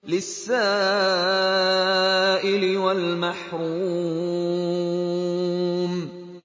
لِّلسَّائِلِ وَالْمَحْرُومِ